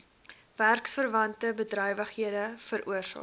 werksverwante bedrywighede veroorsaak